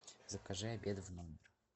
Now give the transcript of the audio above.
закажи обед в номер